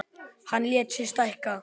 Hann lét sig stækka.